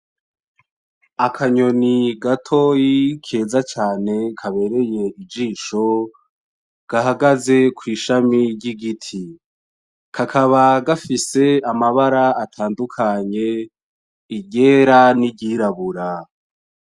Akanyoni gatoyi keza cane kabereye ijisho, gahagaze kw'ishami ry'igiti kakaba gafise amabara atandukanye iryera niry'irabura.